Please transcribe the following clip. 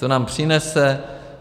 Co nám přinese?